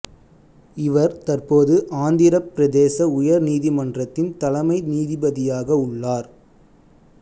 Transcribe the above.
இவர் தற்போது ஆந்திரப் பிரதேச உயர் நீதிமன்றத்தின் தலைமை நீதிபதியாக உள்ளார்